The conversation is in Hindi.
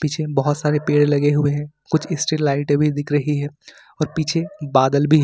पीछे बहुत सारे पेड़ लगे हुए हैं कुछ स्टील लाइट भी दिख रही हैं और पीछे बादल भी है।